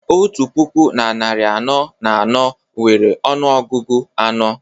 otu puku na narị anọ na anọ nwere ọnụọgụ anọ